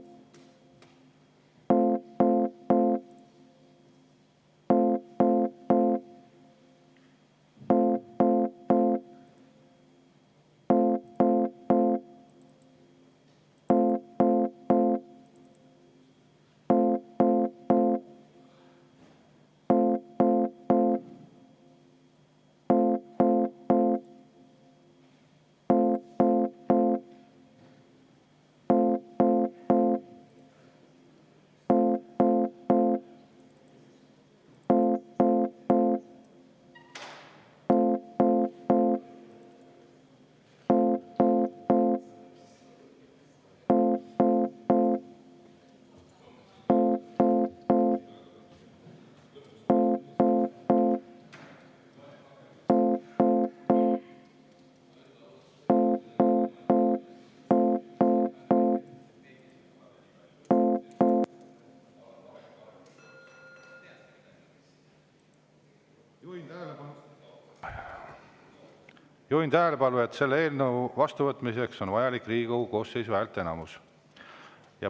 Juhin tähelepanu, et selle eelnõu vastuvõtmiseks on vaja Riigikogu koosseisu häälteenamust.